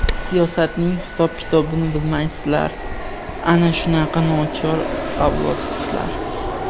siyosatning hisob-kitobini bilmaysizlar - ana shunaqa nochor avlodsizlar!.